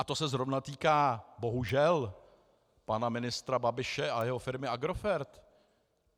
A to se zrovna týká bohužel pana ministra Babiše a jeho firmy Agrofert.